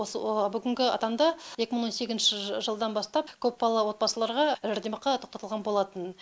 осы бүгінгі таңда екі мың он сегізінші жылдан бастап көпбалалы отбасыларға жәрдемақы тоқтатылған болатын